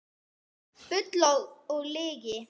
Bull og lygi